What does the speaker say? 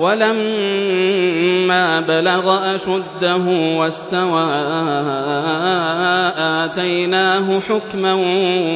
وَلَمَّا بَلَغَ أَشُدَّهُ وَاسْتَوَىٰ آتَيْنَاهُ حُكْمًا